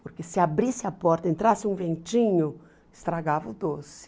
Porque se abrisse a porta, entrasse um ventinho, estragava o doce.